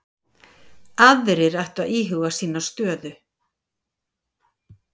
Aðrir ættu að íhuga sína stöðu